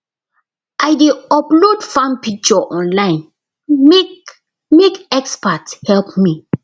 i dey upload farm picture online make make expert help me